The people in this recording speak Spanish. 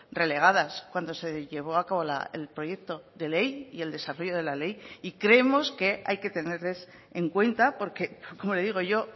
relegadas cuando se llevó a cabo el proyecto de ley y el desarrollo de la ley y creemos que hay que tenerles en cuenta porque como le digo yo